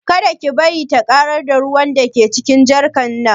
Kada ki bari ta ƙarar da ruwan da ke cikin jarkar nan